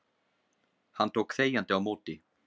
Hann tók þegjandi á móti